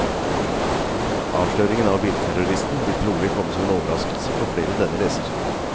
Avsløringen av bilterroristen vil trolig komme som en overraskelse på flere enn denne leser.